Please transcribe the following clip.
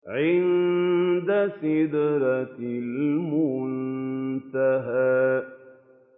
عِندَ سِدْرَةِ الْمُنتَهَىٰ